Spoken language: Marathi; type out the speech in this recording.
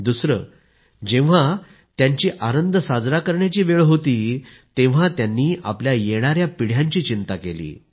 दुसरे जेव्हा त्यांची आनंद साजरा करण्याची वेळ होती तेव्हा त्यांनी आपल्या येणाऱ्या पिढ्यांची चिंता केली